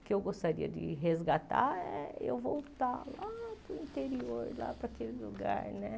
O que eu gostaria de resgatar é eu voltar lá para o interior, lá para a aquele lugar, né?